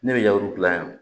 Ne bɛ yaru dilan yan